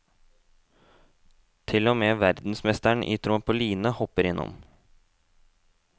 Til og med verdensmesteren i trampoline hopper innom.